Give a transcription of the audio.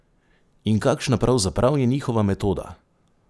In kakšna pravzaprav je njihova metoda?